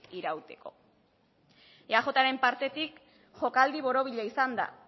irauteko eajren partetik jokaldi borobila izan da